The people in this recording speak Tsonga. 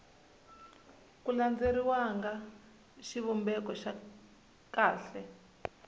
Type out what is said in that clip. ku landzeleriwanga xivumbeko xa kahle